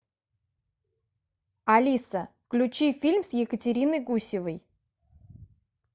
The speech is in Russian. алиса включи фильм с екатериной гусевой